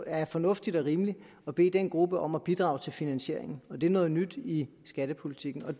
er fornuftigt og rimeligt at bede den gruppe om at bidrage til finansieringen det er noget nyt i skattepolitikken